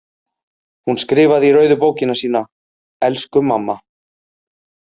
Hún skrifaði í rauðu bókina sína: Elsku mamma.